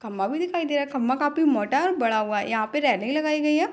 खम्बा भी दिखाई दे रहा है खम्बा काफी मोटा और बड़ा हुआ है यहाँ पे रेलिंग लगाई गई है।